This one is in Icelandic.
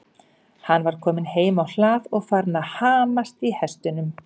Hann var kominn heim á hlað og farinn að hamast í hestunum.